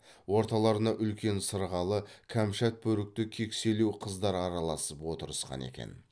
орталарына үлкен сырғалы кәмшат бөрікті кекселеу қыздар араласып отырысқан екен